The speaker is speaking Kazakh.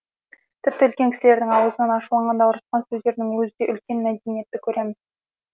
тіпті үлкен кісілердің аузынан ашуланғанда ұрысқан сөздерінің өзінде де үлкен мәдениетті көреміз